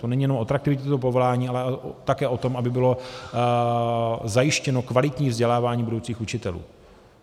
To není jenom o atraktivitě toho povolání, ale také o tom, aby bylo zajištěno kvalitní vzdělávání budoucích učitelů.